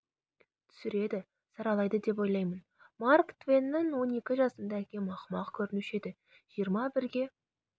түсіреді саралайды деп ойлаймын марк твеннің он екі жасымда әкем ақымақ көрінуші еді жиырма бірге